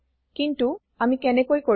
কিন্তু আমি কেনেকৈ কৰিম